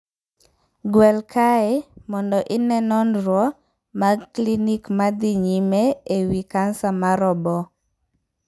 Gwel kae mondo ine nonro mag klinik ma dhi nyime e wii kansa mar oboo.